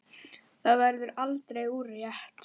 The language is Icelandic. Það verður aldrei úrelt.